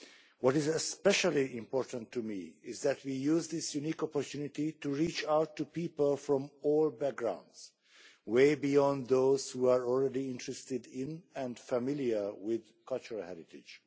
What is especially important to me is that we use this unique opportunity to reach out to people from all backgrounds, way beyond those who are already interested in and familiar with cultural heritage.